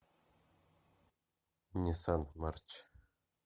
ниссан марч